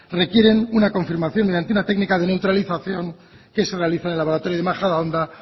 requieren una confirmación mediante una técnica de neutralización que se realiza en el laboratorio de majadahonda